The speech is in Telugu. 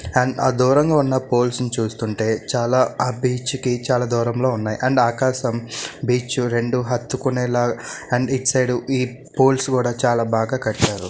ఆ దూరంగా ఉన్న పోల్స్ ని చూస్తుంటే చాలా ఆ బీచ్ కి చాలా దురం లో ఉన్నాయి అండ్ ఆకాశం బీచ్ రెండు హత్తుకునేలా అండ్ ఇటు సైడ్ ఈ పోల్స్ కూడా చాలా బాగా కట్టారు.